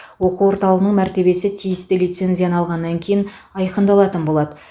оқу орталығының мәртебесі тиісті лицензияны алғаннан кейін айқындалатын болады